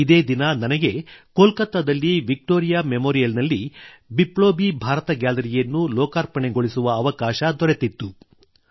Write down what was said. ಇದೇ ದಿನ ನನಗೆ ಕೋಲ್ಕತದಲ್ಲಿ ವಿಕ್ಟೋರಿಯಾ ಮೆಮೋರಿಯಲ್ ನಲ್ಲಿ ಬಿಪ್ಲೋಬಿ ಭಾರತ ಗ್ಯಾಲರಿಯನ್ನು ಲೋಕಾರ್ಪಣೆಗೊಳಿಸುವ ಅವಕಾಶ ದೊರೆತಿತ್ತು